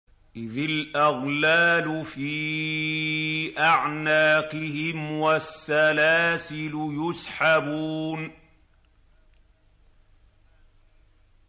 إِذِ الْأَغْلَالُ فِي أَعْنَاقِهِمْ وَالسَّلَاسِلُ يُسْحَبُونَ